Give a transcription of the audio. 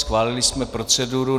Schválili jsme proceduru.